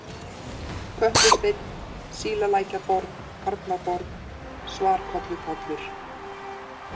Kötlusteinn, Sílalækjarborg, Arnarborg, Svarkollupollur